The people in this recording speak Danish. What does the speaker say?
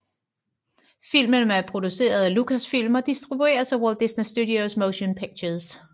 Filmen er produceret af Lucasfilm og distribueres af Walt Disney Studios Motion Pictures